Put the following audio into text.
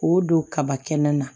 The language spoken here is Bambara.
K'o don kaba kɛnɛ na